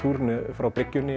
frá